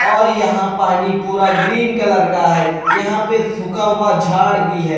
और यहाँ पानी पूरा ग्रीन कलर का है यहाँ पे सूखा हुआ झाड़ भी है।